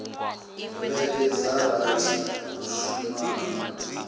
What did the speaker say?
vhege dza rathi u shumana